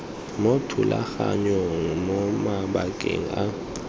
mo thulaganyong mo mabakeng a